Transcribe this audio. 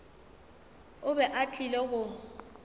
o be a tlile go